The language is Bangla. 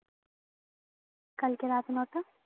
কালকে রাত নটা